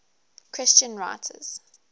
christian writers